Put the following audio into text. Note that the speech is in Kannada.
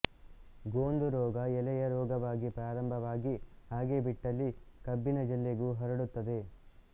ಗೋಂದುರೋಗ ಎಲೆಯ ರೋಗವಾಗಿ ಪ್ರಾರಂಭವಾಗಿ ಹಾಗೇ ಬಿಟ್ಟಲ್ಲಿ ಕಬ್ಬಿನ ಜಲ್ಲೆಗೂ ಹರಡುತ್ತದೆ